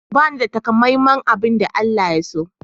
Bani da takamaiman abin da Allah ya so.